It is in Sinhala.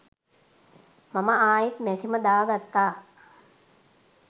මම ආයිත් මැෂිම දාගත්තා